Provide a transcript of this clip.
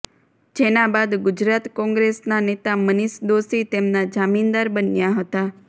જેના બાદ ગુજરાત કોંગ્રેસના નેતા મનીષ દોશી તેમના જામીનદાર બન્યા હતા